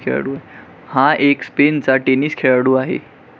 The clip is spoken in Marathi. हा एक स्पेनचा टेनिस खेळाडू आहे.